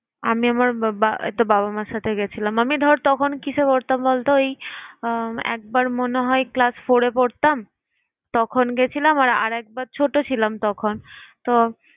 আমি আমার বা~বা~ এইতো বাবা মার সাথে গেছিলাম। আমি ধর তখন কিসে পড়তাম বলতো? ওই আহ একবার মনে হয় class four এ পড়তাম তখন গেছিলাম। আর একবার ছোট ছিলাম তখন। তো